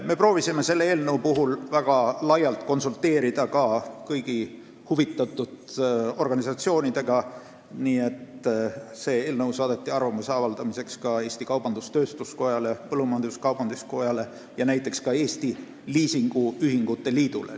Me proovisime selle eelnõu puhul väga laialt konsulteerida ka kõigi huvitatud organisatsioonidega, see eelnõu saadeti arvamuse avaldamiseks kaubandus-tööstuskojale, põllumajandus-kaubanduskojale ja näiteks ka liisingühingute liidule.